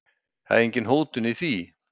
Engin hótun í því.